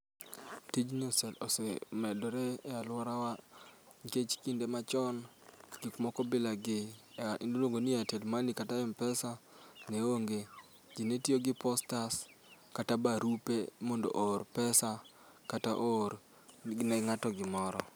Tijni ose medre e aluorawa nikech ekinde machon, gik moko bilani miluongo ni airtel money kata m-pesa neonge. Ji netiyo gi posta kata barupe mondo oor pesa kata oor ne ng'ato gimoro.